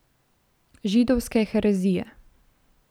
Židovske herezije.